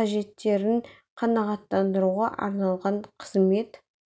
қажеттерін қанағаттандыруға арналған қызмет